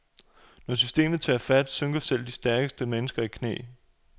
Når systemet tager fat, synker selv de stærkeste mennesker i knæ.